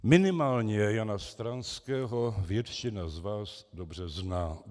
Minimálně Jana Stráského většina z vás dobře zná.